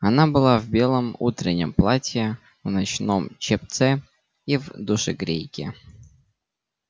она была в белом утреннем платье в ночном чепце и в душегрейке